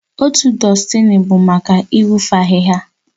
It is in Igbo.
Otu dustini bụ maka ịtụfu ahịhịa